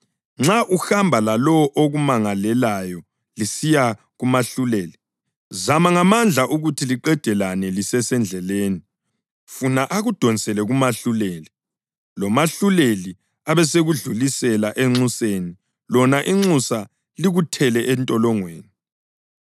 Nxa uhamba lalowo okumangalelayo lisiya kumahluleli, zama ngamandla ukuthi liqedelane lisesendleleni, funa akudonsele kumahluleli, lomahluleli abesekudlulisela enxuseni lona inxusa likuthele entolongweni.